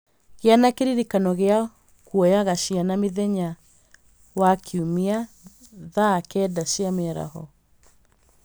Gĩa na kĩririkano gĩa kuoyaga ciana mĩthenya wa kiumia thaa kenda cia mĩaraho